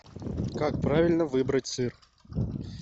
как правильно выбрать сыр